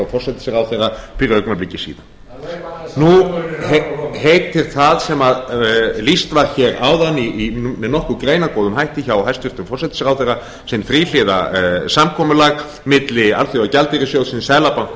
forsætisráðherra fyrir augnabliki síðan nú heitir það sem lýst var hér áðan með nokkuð greinargóðum hætti hjá hæstvirtum forsætisráðherra sem þríhliða samkomulag milli alþjóðagjaldeyrissjóðsins seðlabanka og